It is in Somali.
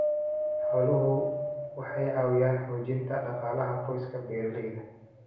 Xooluhu waxay caawiyaan xoojinta dhaqaalaha qoysaska beeralayda ah.